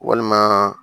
Walima